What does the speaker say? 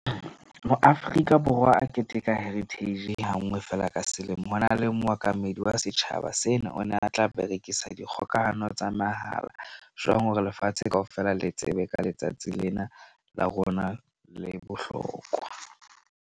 Mo Afrika Borwa a keteka heritage hanngwe fela ka selemo. Ho na le mookamedi wa setjhaba sena. O na tla berekisa dikgokahano tsa mahala jwang hore lefatshe kaofela le tsebe ka letsatsi lena la rona le bohlokwa.